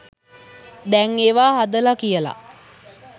දැන් ඒව හදල කියල.